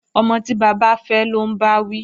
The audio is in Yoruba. Ọmọ tí bàbá fẹ́ lọ́ ń bá wí